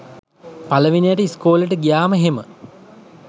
පළවෙනියට ඉස්කෝලෙට ගියාම එහෙම